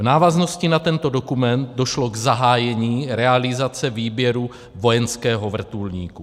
V návaznosti na tento dokument došlo k zahájení realizace výběru vojenského vrtulníku.